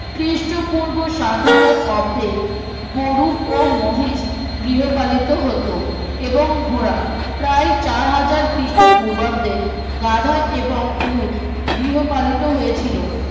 খ্রিস্ট পূর্ব সাত হাজার অব্দে গুরু ও মহিষ গৃহপালিত হত এবং ঘোড়া প্রায় চার হাজার খ্রীষ্ট পূর্বাব্দে গাধা এবং উট গৃহপালিত হয়েছিল